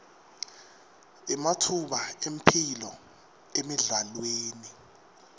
ematfuba emphilo emidlalweni